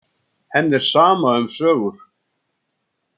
Henni er sama um sögur.